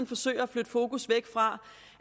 forsøger at flytte fokus fra